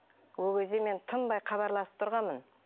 ол кезде мен тынбай хабарласып тұрғанмын